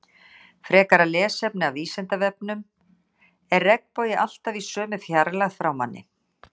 Frekara lesefni af Vísindavefnum: Er regnbogi alltaf í sömu fjarlægð frá manni?